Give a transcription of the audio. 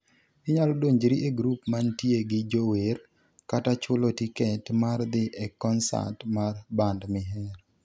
Inyalo donjri e grup mantie gi jower kata chulo tiket mar dhi e konsat mar band mihero.